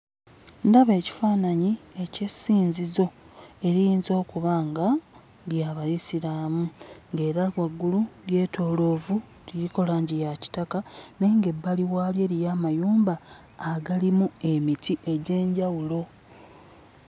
Ndaba ekifaananyi eky'essinzizo eriyinza okuba nga lya Bayisiraamu ng'era waggulu lyetooloovu, liriko langi ya kitaka naye ng'ebbali waalyo eriyo amayumba agalimu emiti egy'enjawulo.